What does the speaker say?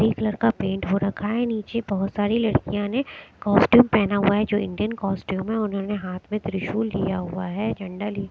Colour का paint हो रखा है नीचे बहुत सारी लड़कियां ने कॉस्ट्यूम पहना हुआ है जो इंडियन कॉस्ट्यूम है उन्होंने हाथ में त्रिशूल लिया हुआ है झंडा लिया हुआ है ।